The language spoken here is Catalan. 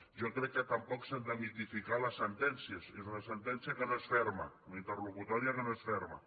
jo crec que tampoc s’han de mitificar les sentències és una sentència que no és ferma una interlocutòria que no és ferma